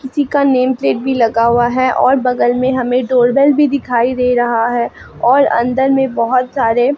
किसी का name plate भी लगा हुआ है और बगल में हमें डोर बेल भी दिखाई दे रहा है और अंदर में बोहोत सारे --